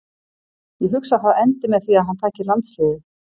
Ég hugsa að það endi með því að hann taki landsliðið.